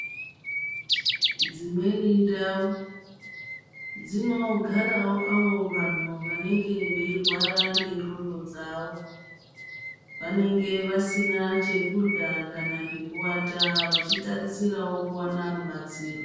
Dzimweni ndau dzinogarawo avo vanhu vanenge veirwarawo ngendxondo dzavo. Vanenge vasina chekurya kana pekuvata vechitarisirawo kuwana rubatsiro.